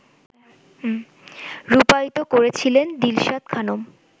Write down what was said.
রূপায়িত করেছিলেন দিলশাদ খানম